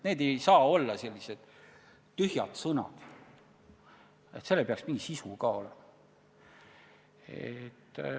Need ei saa olla sellised tühjad sõnad, neil peaks ka sisu olema.